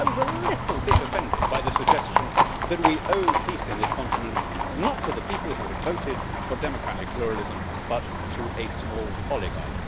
I was a little bit offended by the suggestion that we owed peace in this continent not to the people who had voted for democratic pluralism, but to a small oligarchy.